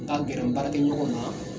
Ka gɛrɛ n baarakɛɲɔgɔnw na.